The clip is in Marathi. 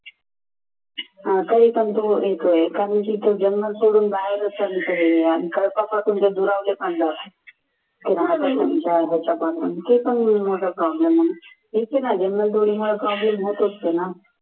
आता हे सांगतोय एका दिवशी तू जंगल दुरावले होत असते ना